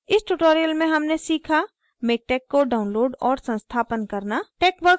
इस tutorial में हमने सीखा:miktex को download और संस्थापन करना